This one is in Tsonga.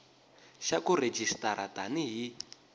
xa ku rejistara tani hi